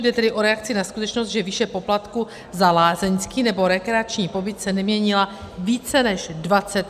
Jde tedy o reakci na skutečnost, že výše poplatku za lázeňský nebo rekreační pobyt se neměnila více než 25 let.